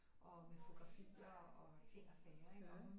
Og med fotografier og ting og sager ikke og hun